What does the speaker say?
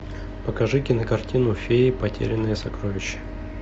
покажи кинокартину феи потерянное сокровище